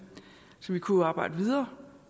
så vi kunne arbejde videre